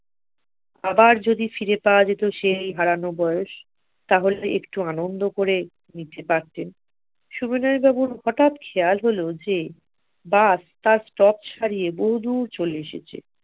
আবার যদি ফিরে পাওয়া যেত সেই হারানো বয়স তাহলে একটু আনন্দ করে নিতে পারতেন। সুবিনয় বাবুর হটাৎ খেয়াল হল যে bus তার stop ছাড়িয়ে বহুদূর চলে এসেছে